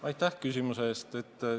Aitäh küsimuse eest!